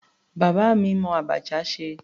Bàbá mi mọ abacha ṣe.